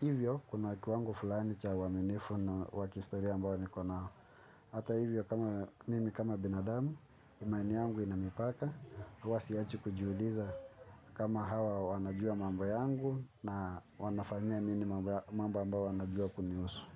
Hivyo kuna kiwango fulani cha uwaminifu na wakihistoria ambao nikonao. Hata hivyo kama mimi kama binadamu imani yangu ina mipaka. Huwa siachi kujiuliza kama hawa wanajua mambo yangu na wanafanyia nini mambo ambayo wanajua kunihusu.